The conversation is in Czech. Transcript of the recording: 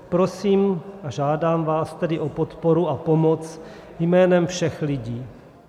Prosím a žádám vás tedy o podporu a pomoc jménem všech lidí.